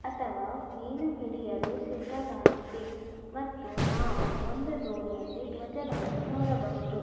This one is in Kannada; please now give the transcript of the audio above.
ಅಥವಾ ಮೀನು ಹಿಡಿಯಲು ಸಿದ್ಧವಾಗಿದೆ ಮತ್ತು ನಾವು ಒಂದು ದೋಣಿಯಲ್ಲಿ ದ್ವಜವನ್ನು ನೋಡಬಹುದು .